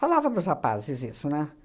Falava para os rapazes isso, né?